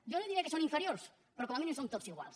jo no li diré que són inferiors però com a mínim som tots iguals